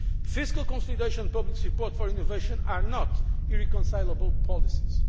Fiscal consideration and public support for innovation are not irreconcilable policies.